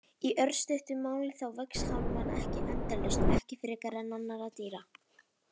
Í örstuttu máli þá vex hár manna ekki endalaust, ekki frekar en annarra dýra.